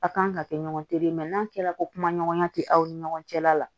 A kan ka kɛ ɲɔgɔn tere mɛ n'a kɛra ko kuma ɲɔgɔnya tɛ aw ni ɲɔgɔn cɛ la la